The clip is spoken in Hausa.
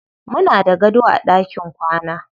Muna da gado a ɗakin kwana.